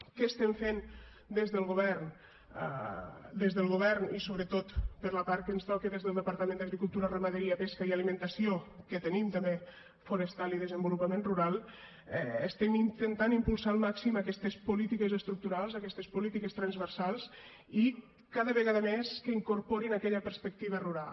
què estem fent des del govern des del govern i sobretot per la part que ens toca des del departament d’agricultura ramaderia pesca i alimentació que tenim també forestal i desenvolupament rural estem intentant impulsar al màxim aquestes polítiques estructurals aquestes polítiques transversals i que cada vegada més incorporin aquella perspectiva rural